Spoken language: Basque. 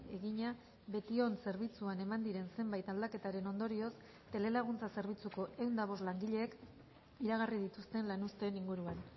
egina betion zerbitzuan eman diren zenbait aldaketaren ondorioz telelaguntza zerbitzuko ehun eta bost langileek iragarri dituzten lanuzteen inguruan